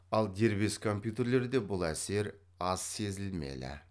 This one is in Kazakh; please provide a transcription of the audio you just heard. ал дербес компьютерлерде бұл әсер аз сезілмелі